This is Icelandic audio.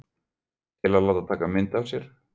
Til að láta taka mynd af sér?